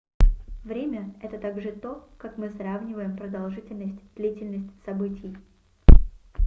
время — это также то как мы сравниваем продолжительность длительность событий